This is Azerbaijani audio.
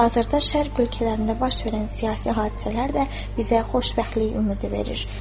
Hazırda şərq ölkələrində baş verən siyasi hadisələr də bizə xoşbəxtlik ümidi verir.